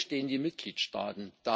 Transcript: Wo stehen die Mitgliedsstaaten?